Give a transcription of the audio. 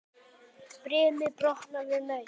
Brimið brotnar við naust.